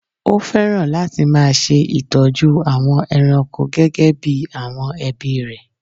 Ó fẹ́ràn láti máa ṣe ìtọ́jú àwọn ẹranko gẹ́gẹ́ bí àwọn ẹbí rẹ̀